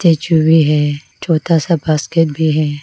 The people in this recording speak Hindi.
ये चूहे हैं छोटा सा बास्केट भी है।